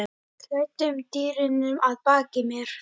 klæddum dýnunum að baki mér.